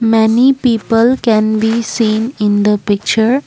many people can we seen in the picture.